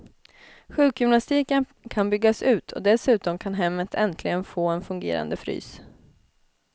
Sjukgymnastiken kan byggas ut och dessutom kan hemmet äntligen få en fungerande frys.